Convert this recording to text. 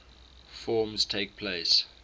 forms takes place